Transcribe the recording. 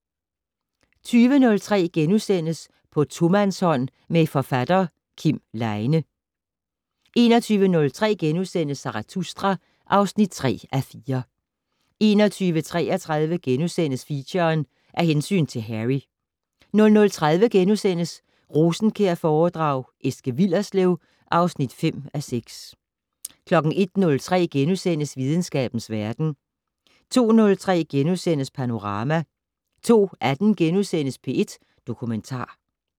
20:03: På tomandshånd med forfatter Kim Leine * 21:03: Zarathustra (3:4)* 21:33: Feature: Af hensyn til Harry * 00:30: Rosenkjærforedrag: Eske Willerslev (5:6)* 01:03: Videnskabens verden * 02:03: Panorama * 02:18: P1 Dokumentar *